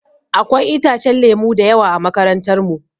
Akwai itacen lemu da yawa a makarantar mu.